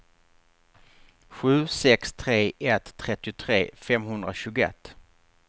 sju sex tre ett trettiotre femhundratjugoett